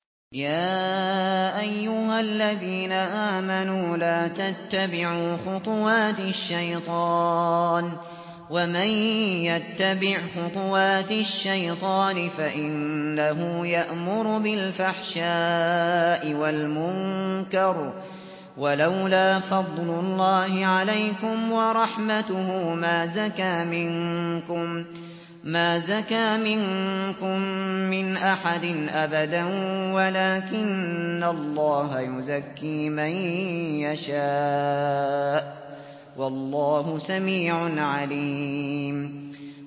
۞ يَا أَيُّهَا الَّذِينَ آمَنُوا لَا تَتَّبِعُوا خُطُوَاتِ الشَّيْطَانِ ۚ وَمَن يَتَّبِعْ خُطُوَاتِ الشَّيْطَانِ فَإِنَّهُ يَأْمُرُ بِالْفَحْشَاءِ وَالْمُنكَرِ ۚ وَلَوْلَا فَضْلُ اللَّهِ عَلَيْكُمْ وَرَحْمَتُهُ مَا زَكَىٰ مِنكُم مِّنْ أَحَدٍ أَبَدًا وَلَٰكِنَّ اللَّهَ يُزَكِّي مَن يَشَاءُ ۗ وَاللَّهُ سَمِيعٌ عَلِيمٌ